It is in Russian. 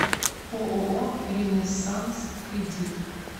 ооо ренессанс кредит